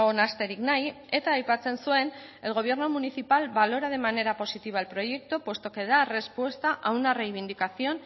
nahasterik nahi eta aipatzen zuen el gobierno municipal valora de manera positiva el proyecto puesto que da respuesta a una reivindicación